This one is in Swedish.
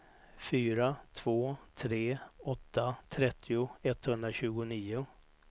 fyra två tre åtta trettio etthundratjugonio